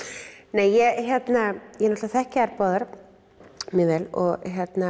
nei ég náttúrulega þekki þær báðar mjög vel og